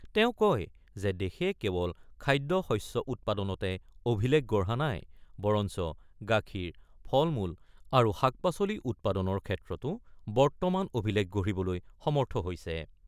তেওঁ কয় যে দেশে কেৱল খাদ্য শস্য উৎপাদনতে অভিলেখ গঢ়া নাই, বৰঞ্চ গাখীৰ, ফল-মূল আৰু শাক-পাচলি উৎপাদনৰ ক্ষেত্ৰতো বৰ্তমান অভিলেখ গঢ়িবলৈ সমৰ্থ হৈছে।